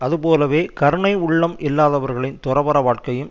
அது போலவே கருணை உள்ளம் இல்லாதவர்களின் துறவற வாழ்க்கையும்